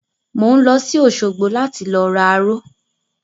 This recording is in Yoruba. Mo ń lọ sí òsogbo láti lọ ra aró